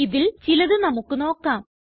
ഇതിൽ ചിലത് നമുക്ക് നോക്കാം